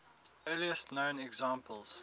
earliest known examples